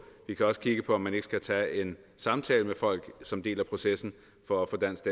vi kan også kigge på om man ikke skal tage en samtale med folk som en del af processen for at få dansk